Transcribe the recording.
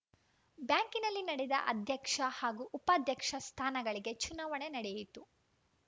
ಬ್ಯಾಂಕಿನಲ್ಲಿ ನಡೆದ ಅಧ್ಯಕ್ಷ ಹಾಗೂ ಉಪಾಧ್ಯಕ್ಷ ಸ್ಥಾನಗಳಿಗೆ ಚುನಾವಣೆ ನಡೆಯಿತು